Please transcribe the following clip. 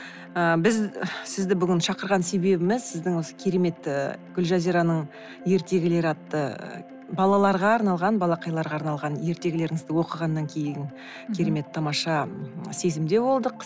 ы біз сізді бүгін шақырған себебіміз сіздің осы керемет ы гулжазираның ертегілері атты ы балаларга арналған балақайларға арналған ертегілеріңізді оқығаннан кейін керемет тамаша сезімде болдық